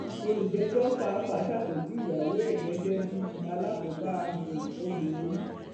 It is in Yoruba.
olùjẹjọ pàápàá ṣàpèjúwe ìyàwó ẹ gẹgẹ bíi alákòóbá um obìnrin